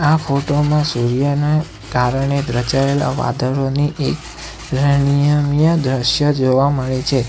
આ ફોટો માં સૂર્યના કારણે રચાયેલા વાદળોની એક રણમીય દ્રશ્ય જોવા મળે છે.